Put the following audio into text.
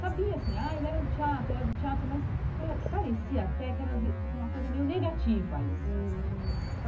Sabia assim, ah, ele era do teatro, ele era do teatro, mas pare parecia até que era visto como uma coisa meio negativa isso. Hum